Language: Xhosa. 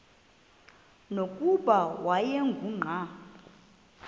nokuba wayengu nqal